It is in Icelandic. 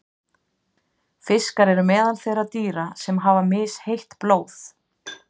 Fiskar eru meðal þeirra dýra sem hafa misheitt blóð.